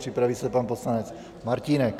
Připraví se pan poslanec Martínek.